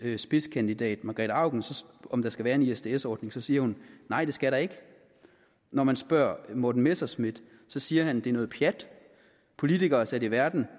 spidskandidat margrete auken om der skal være en isds ordning så siger hun nej det skal der ikke når man spørger morten messerschmidt siger han at det er noget pjat politikere er sat i verden